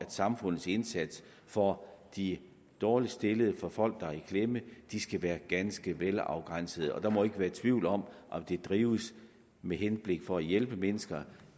samfundets indsats for de dårligst stillede for folk der er i klemme de skal være ganske velafgrænsede der må ikke være tvivl om om det drives med henblik på at hjælpe mennesker